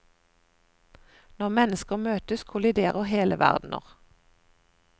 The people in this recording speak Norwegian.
Når mennesker møtes, kolliderer hele verdener.